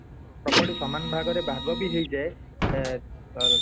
property ସମାନ ଭାଗରେ ଭାଗ ବି ହେଇ ଯାଏ ଏ ଅ